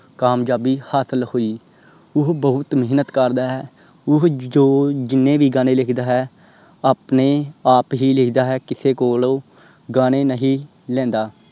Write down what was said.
ਕਾਮਯਾਬੀ ਹਾਸਲ ਹੋਇ। ਓਹੋ ਬਹੁਤ ਮੇਹਨਤ ਕਰਦਾ ਹੈ। ਓਹੋ ਜੋ ਜਿੰਨੇ ਵੀ ਗਾਣੇ ਲਿਖਦਾ ਹੈ। ਆਪਣੇ ਆਪ ਹੀ ਲਿਖਦਾ ਹੈ। ਕਿਸੇ ਕੋਲ ਗਾਣੇ ਨਹੀਂ ਲੈਂਦਾ।